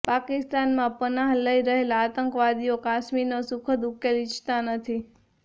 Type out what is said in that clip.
પાકિસ્તાનમાં પનાહ લઇ રહેલા આતંકવાદીઓ કાશ્મીરનો સુખદ ઉકેલ ઇચ્છતા નથી